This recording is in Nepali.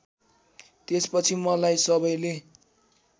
त्यसपछि मलाई सबैले